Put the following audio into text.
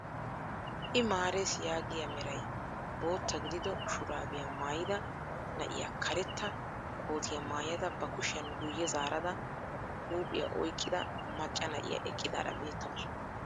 I marees yaagiyaa meray bootta gidido shuraabiyaa maayida na'iyaa karetta kootiyaa maayada ba kushiyaan guye zaarada huuphphiyaa oyqqida macca na'iyaa eqqidaara beettawus.